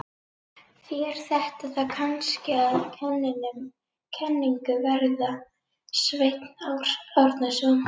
ÞÉR ÞETTA ÞÁ KANNSKI AÐ KENNINGU VERÐA, SVEINN ÁRNASON!